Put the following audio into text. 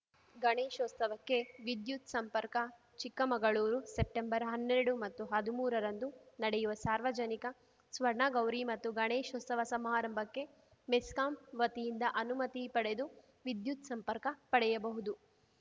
ಗಣೇಶೋತ್ಸವಕ್ಕೆ ವಿದ್ಯುತ್‌ ಸಂಪರ್ಕ ಚಿಕ್ಕಮಗಳೂರು ಸೆಪ್ಟೆಂಬರ್‌ ಹನ್ನೆರಡು ಮತ್ತು ಹದ್ಮೂರ ರಂದು ನಡೆಯುವ ಸಾರ್ವಜನಿಕ ಸ್ವರ್ಣಗೌರಿ ಮತ್ತು ಗಣೇಶೋತ್ಸವ ಸಮಾರಂಭಕ್ಕೆ ಮೆಸ್ಕಾಂ ವತಿಯಿಂದ ಅನುಮತಿ ಪಡೆದು ವಿದ್ಯುತ್‌ ಸಂಪರ್ಕ ಪಡೆಯಬಹುದು